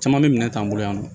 Caman bɛ minɛn t'an bolo yan nɔ